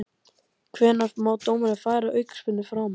Hvenær má dómari færa aukaspyrnu framar?